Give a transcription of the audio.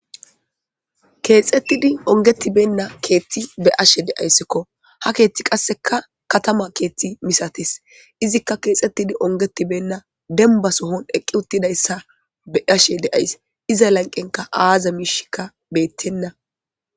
eexxettidi ongetibenna keethti be ashe deayssikko ha keeththi qasseka katama keethti misatis izikka keexxettidi ongetibenna denba sohon eqqi uttidayssa be ashe deays iza lanqenka aaza miishikka beettenna